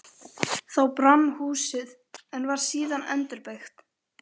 Þá brann húsið, en var síðan endurbyggt.